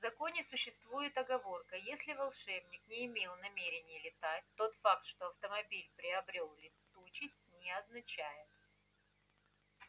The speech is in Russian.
в законе существует оговорка если волшебник не имел намерения летать тот факт что автомобиль приобрёл летучесть не означает